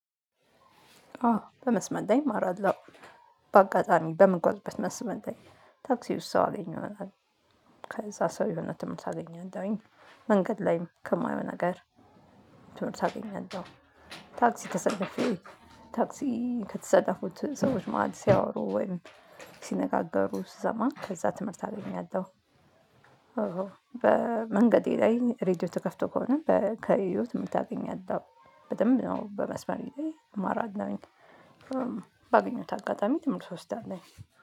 አዎ በመስመር ላይ እማራለሁ። በአጋጣሚ በምጓዝበት መስመር ላይ ታክሲ ውስጥ ሰው አገኘሁትኝ። ከዛ ሰው የሆነ ትምህርት አገኘሁኝ። መንገድ ላይም ከማየው ነገር ትምህርት አገኛለሁ። ታክሲ ተሰለፉ ታክሲ ከተሰለፉት ሰዎች ማህል ሲያወሩ ወይም ሲነጋገሩ ስሰማ ከዛ ትምህርት አገኛለሁ። በመንገዴ ላይ ሬድዮ ተከፍቶ ከሆነ ከህይወት የምታገኝ ያለው በደንብ ነው በመስመር ላይ እማራለሁኝ። በአገኘሁት አጋጣሚ ትምህርትእወስዳለሁኝ።